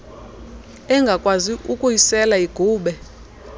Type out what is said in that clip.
engakwazi ukuyisela yigube